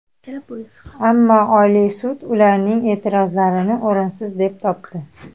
Ammo oliy sud ularning e’tirozlarini o‘rinsiz deb topdi.